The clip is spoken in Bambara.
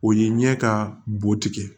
O ye ɲɛ ka bo tigɛ